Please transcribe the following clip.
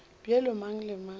bjalo ka mang le mang